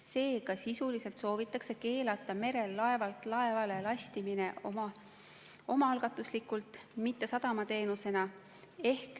Seega sisuliselt soovitakse keelata merel laevalt laevale lastimine omaalgatuslikult, mitte sadamateenusena.